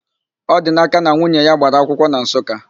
Ọdinaka na nwunye ya gbara akwụkwọ na Nsụka.